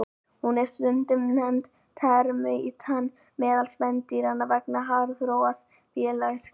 Hún er stundum nefnd termítinn meðal spendýranna vegna háþróaðs félagslífs.